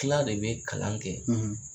Kila de be kalan kɛ.